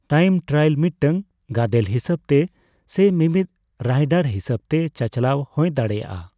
Time trial ᱢᱤᱫᱴᱟᱝ ᱜᱟᱫᱮᱹᱞ ᱦᱤᱥᱟᱹᱵᱽᱛᱮ ᱥᱮ ᱢᱤᱢᱤᱫ ᱨᱟᱭᱰᱟᱨ ᱦᱤᱥᱟᱹᱵᱽᱛᱮ ᱪᱟᱪᱞᱟᱣ ᱦᱳᱭ ᱫᱟᱲᱮᱹᱭᱟᱜᱼᱟ ᱾